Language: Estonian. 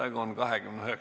Istungi lõpp kell 19.00.